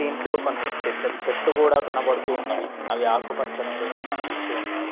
దీంట్లో కొన్ని పెద్ద చెట్లు కూడా కనబడుతు ఉన్నవి అవి ఆకుపచ్చనిదిగా కనిపిస్తు ఉన్నాయి.